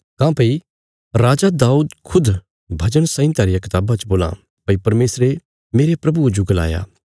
काँह्भई राजा दाऊद खुद भजन संहिता रिया कताबा च बोल्लां भई परमेशरे मेरे प्रभुये जो गलाया